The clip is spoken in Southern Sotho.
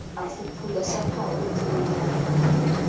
e fuphula sa phakwe tsuonyana